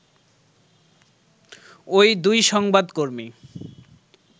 ওই দুই সংবাদকর্মী